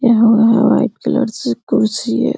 यहाँ-वहाँ white colour सी कुर्सी है।